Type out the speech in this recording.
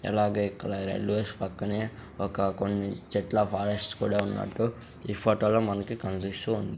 అలాగే ఇక్కడ రైల్వేస్ పక్కనే ఒక కొన్ని చెట్ల ఫారెస్ట్ కూడా ఉన్నట్టు ఈ ఫోటోలో మనకి కనిపిస్తూ ఉంది.